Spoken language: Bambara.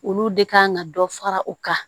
Olu de kan ka dɔ fara u kan